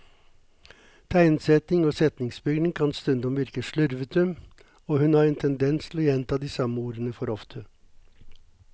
Tegnsetting og setningsbygning kan stundom virke slurvete, og hun har en tendens til å gjenta de samme ordene for ofte.